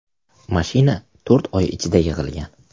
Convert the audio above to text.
Mashina to‘rt oy ichida yig‘ilgan.